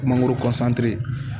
Mangoro